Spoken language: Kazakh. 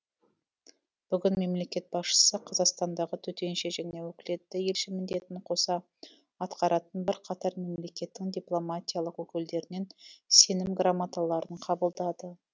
бүгін мемлекет басшысы қазақстандағы төтенше және өкілетті елші міндетін қоса атқаратын бірқатар мемлекеттің дипломатиялық өкілдерінен сенім грамоталарын қабылдады